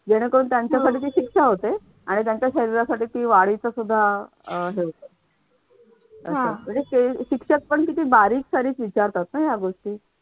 जेणेकरून त्यांच्यासाठी ती शिक्षा होते आणि त्यांच्या शरीरासाठी ति वाडीच सुद्धा हे होत असं म्हणजे शिक्षक पण किती बारीकसारीक विचारतात नाही या गोष्टी